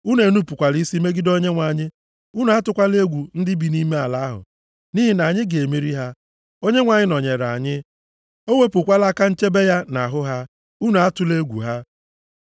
Unu enupukwala isi megide Onyenwe anyị. Unu atụkwala egwu ndị bi nʼime ala ahụ, nʼihi na anyị ga-emeri ha. Onyenwe anyị nọnyeere anyị. O wepụkwala aka nchebe ya nʼahụ ha. Unu atụla egwu ha.”